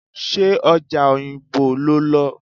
Ṣé ọjà Oyingbo lo lọ?